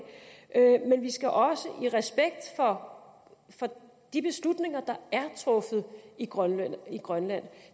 men vi skal også have respekt for de beslutninger der er truffet i grønland grønland